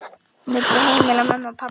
milli heimila mömmu og pabba.